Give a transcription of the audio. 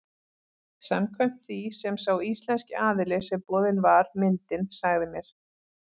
Samkvæmt því sem sá íslenski aðili sem boðin var myndin sagði mér.